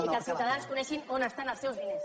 i que els ciutadans coneguin on estan els seus diners